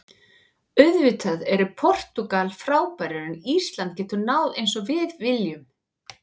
Auðvitað eru Portúgal frábærir en Ísland getur náð eins og við viljum.